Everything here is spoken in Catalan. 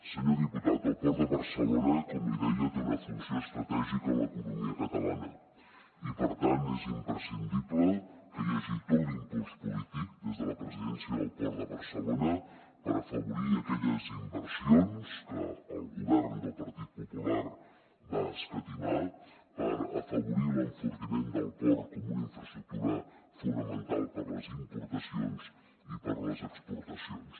senyor diputat el port de barcelona com li deia té una funció estratègica en l’economia catalana i per tant és imprescindible que hi hagi tot l’impuls polític des de la presidència del port de barcelona per afavorir aquelles inversions que el govern del partit popular va escatimar per afavorir l’enfortiment del port com una infraestructura fonamental per a les importacions i per a les exportacions